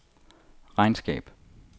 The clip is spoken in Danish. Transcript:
regnskab